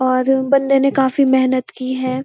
और बन्दे ने काफ़ी मेहनत की है।